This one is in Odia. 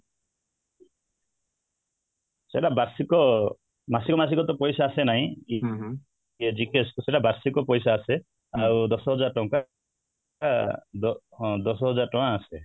ସେଇଟା ବାର୍ଷିକ ମାସିକ ମାସିକ ତ ପଇସା ଆସେ ନାହିଁ GKS ରେ ବାର୍ଷିକ ପଇସା ଆସେ ଆଉ ଦଶ ହଜାର ଟଙ୍କା ଅ ବ ହଁ ଦଶ ହଜାର ଟଙ୍କା ଆସେ